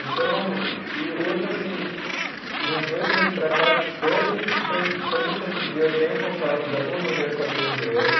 Então e e, hoje, assim, de uns dois meses para cá, todos os santo, todo santo dia eu tenho contato, de alguma maneira, com a língua inglesa.